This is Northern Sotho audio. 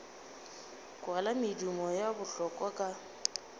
kwala medumo ya bohlola ka